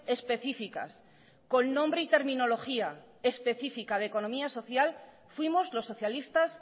específicas con nombre y terminología específica de economía social fuimos los socialistas